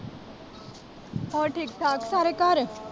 ਹੋਰ ਠੀਕ-ਠਾਕ ਸਾਰੇ ਘਰ।